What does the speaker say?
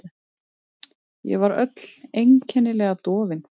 Ég var öll einkennilega dofin.